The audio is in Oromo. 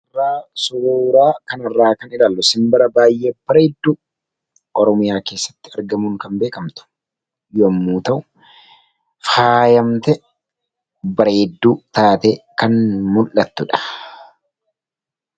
Suuraa kana irraa kan ilaallu simbira baay'ee bareedduu Oromiyaa keessatti argamuun kan beekamtu yemmuu ta'u, faayamtee, bareedduu taatee kan mul'attudha.